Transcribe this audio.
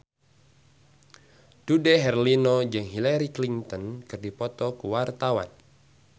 Dude Herlino jeung Hillary Clinton keur dipoto ku wartawan